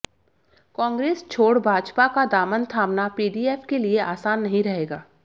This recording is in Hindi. कांग्रेस छोड़ भाजपा का दामन थामना पीडीएफ के लिए आसान नहीं रहेगा